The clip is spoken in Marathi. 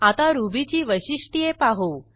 आता रुबीची वैशिष्ट्ये पाहू